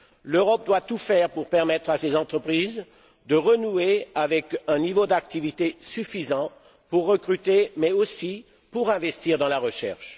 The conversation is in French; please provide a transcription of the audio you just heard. L'Europe doit tout faire pour permettre à ses entreprises de renouer avec un niveau d'activité suffisant pour recruter mais aussi pour investir dans la recherche.